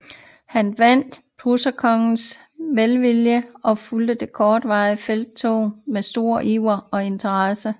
Han vandt preusserkongens velvilje og fulgte det kortvarige felttog med stor iver og interesse